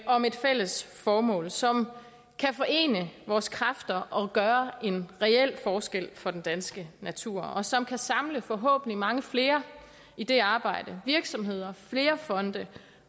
om et fælles formål som kan forene vores kræfter og gøre en reel forskel for den danske natur og som kan samle forhåbentlig mange flere i det arbejde virksomheder flere fonde